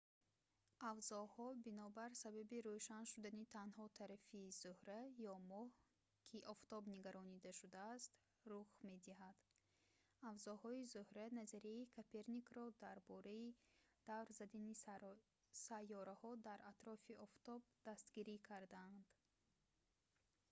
авзоҳо бинобар сабаби рӯшан шудани танҳо тарафи зӯҳра ё моҳ ки ба офтоб нигаронда шудааст рух медиҳад. авзоҳои зӯҳра назарияи коперникро дар бораи давр задани сайёраҳо дар атрофи офтоб дастгирӣ карданд